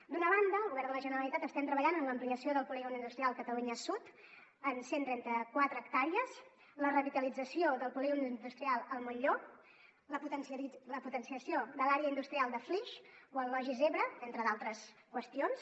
d’una banda el govern de la generalitat estem treballant en l’ampliació del polígon industrial catalunya sud en cent i trenta quatre hectàrees la revitalització del polígon industrial el molló la potenciació de l’àrea industrial de flix o el logis ebre entre altres qüestions